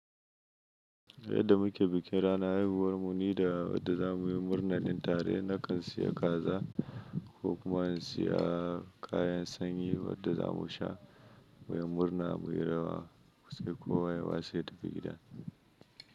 Yadda muke bikin ranar haihuwar mu ni da wadda za mu yi murna din tare. Nakan siya kaza ko kuma in siya kayan sanyi wadda za mu sha, mu yi murna, mu yi rawa, sai kowa ya watse ya tafi gida.